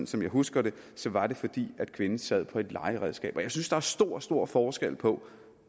som jeg husker det var det fordi kvinden sad på et legeredskab jeg synes der er stor stor forskel på